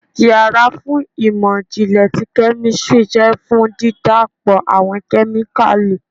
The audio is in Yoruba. ìyára fún imọ-jinlẹ tí kemistri jẹ fun dídapọ awọn kemíkalí.